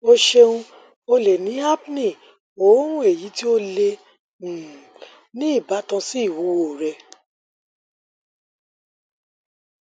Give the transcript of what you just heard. o ṣeun o le ni apnea oorun eyi ti o le um ni ibatan si iwuwo rẹ